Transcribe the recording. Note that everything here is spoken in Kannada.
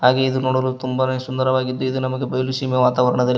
ಹಾಗೆ ಇದು ನೋಡಲು ತುಂಬಾನೇ ಸುಂದರವಾಗಿದ್ದು ಇದು ನಮಗೆ ಬಯಲು ಸೀಮೆ ವಾತಾವರಣದಲ್--